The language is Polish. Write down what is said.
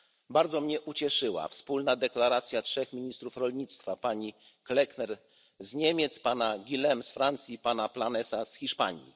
Bardzo mnie ucieszyła wspólna deklaracja trzech ministrów rolnictwa pani Klöckner z Niemiec, pana Glavany'ego z Francji, pana Planasa z Hiszpanii.